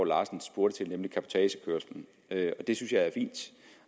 larsen spurgte til nemlig cabotagekørsel det det synes jeg er fint